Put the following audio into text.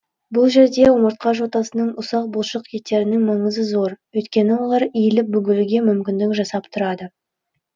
бұл жерде омыртқа жотасының ұсақ бұлшық еттерінің маңызы зор өйткені олар иіліп бүгілуге мүмкіндік жасап тұрады